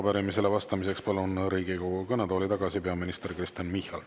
Arupärimisele vastamiseks palun Riigikogu kõnetooli tagasi peaminister Kristen Michali.